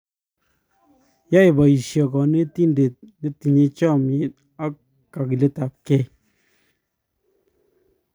Yoe boisie konetinde nitinyei chomnyee om kakiletapkei.